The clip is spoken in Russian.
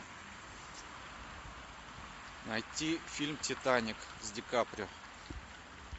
найти фильм титаник с ди каприо